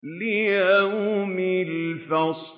لِيَوْمِ الْفَصْلِ